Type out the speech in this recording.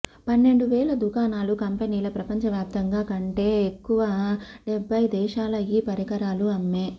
పన్నెండు వేల దుకాణాలు కంపెనీల ప్రపంచవ్యాప్తంగా కంటే ఎక్కువ డెబ్బై దేశాల ఈ పరికరాలు అమ్మే